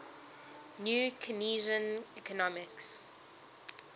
new keynesian economics